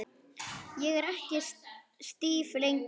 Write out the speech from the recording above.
Ég er ekki stíf lengur.